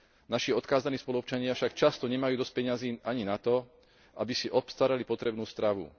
Naši odkázaní spoluobčania však často nemajú dosť peňazí ani na to, aby si obstarali potrebnú stravu.